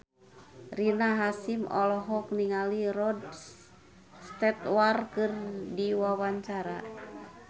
Rina Hasyim olohok ningali Rod Stewart keur diwawancara